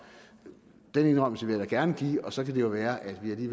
den indrømmelse vil jeg da gerne give og så kan det jo være at vi